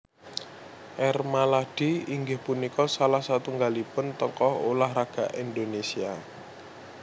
R Maladi inggih punika salah satunggalipun tokoh ulah raga Indonésia